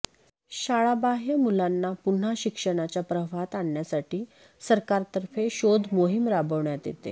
शाळाबाह्य मुलांना पुन्हा शिक्षणाच्या प्रवाहात आणण्यासाठी सरकारतर्फे शोध मोहीम राबवण्यात येते